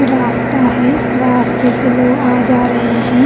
रास्ता है रास्ते से लोग आ जा रहे हैं।